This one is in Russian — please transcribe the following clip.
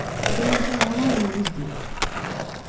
и там ничего нормального не сделаешь